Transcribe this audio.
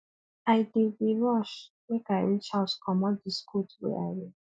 i dey dey rush make i reach house comot dis coat wey i wear